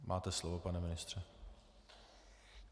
Máte slovo, pane ministře.